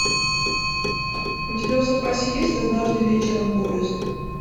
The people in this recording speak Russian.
у тебя в запасе есть однажды вечером поезд